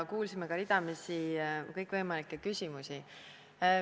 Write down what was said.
Ja kuulsime ka ridamisi kõikvõimalikke küsimusi.